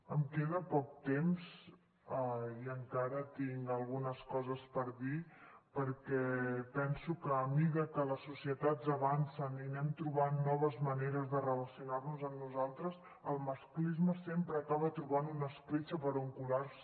em queda poc temps i encara tinc algunes coses per dir perquè penso que a mesura que les societats avancen i anem trobant noves maneres de relacionar nos amb nosaltres el masclisme sempre acaba trobant una escletxa per on colar se